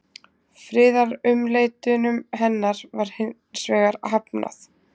friðarumleitunum hennar var hins vegar hafnað